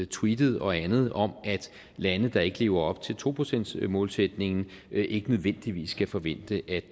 twittet og andet om at lande der ikke lever op til to procentsmålsætningen ikke nødvendigvis skal forvente at